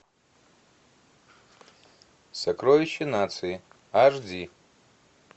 сокровище нации аш ди